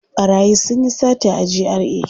Ɓarayi sun yi sata a GRA.